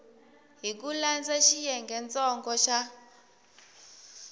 hi ku landza xiyengentsongo xa